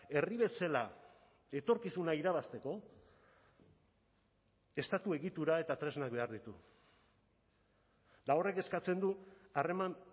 herri bezala etorkizuna irabazteko estatu egitura eta tresnak behar ditu eta horrek eskatzen du harreman